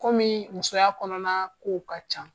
Kɔmi musoya kɔnɔna kow ka ca.